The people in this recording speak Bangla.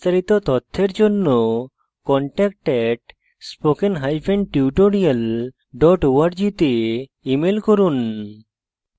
বিস্তারিত তথ্যের জন্য contact @spokentutorial org তে ইমেল করুন